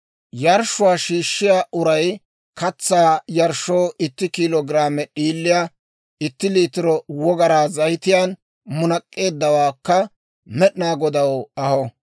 Yarshshuwaa shiishshiyaa uray katsaa yarshshoo itti kiilo giraame d'iiliyaa itti liitiro wogaraa zayitiyaan munak'k'eeddawaakka Med'inaa Godaw aho.